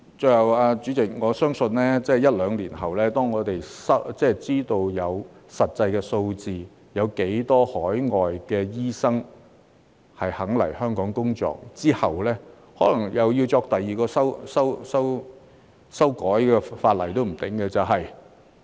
最後，主席，我相信在一兩年後，當我們知道實際有多少海外醫生願意來香港工作，可能又要再次修改法例。